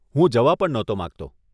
હું જવા પણ નહોતો માંગતો.